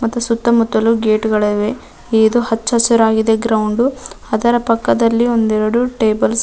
ಮತ್ತು ಸುತ್ತ ಮುತ್ತಲು ಗೇಟಗಳಿವೆ ಇದೆ ಹಚ್ಚ ಹಸಿರಾಗಿವೆ ಗ್ರೌಂದ್ ಅದರ ಪಕ್ಕದಲ್ಲಿ ಒಂದೆರಡು ಟೇಬಲ್ಸ --